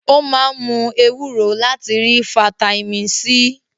Ó máa ń mú ewúro láti rí fataímìn C.